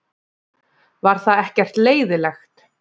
Var það ekkert leiðinlegt?